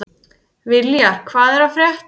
Viljar, hvað er að frétta?